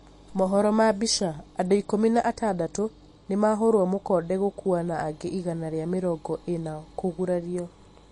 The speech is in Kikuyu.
mohoro ma mbica, andũ ikũmi na atandatũ nĩmahũrwo mũkonde gũkũa na angĩ igana rĩa mĩrongo ĩna kũgurario